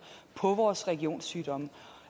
på vores regionssygehuse